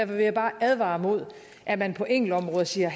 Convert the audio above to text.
vil jeg bare advare mod at man på enkeltområder siger